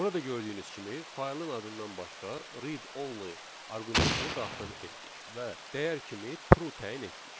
Burada gördüyünüz kimi faylın adından başqa read_only arqumentini daxil etdik və dəyər kimi True təyin etdik.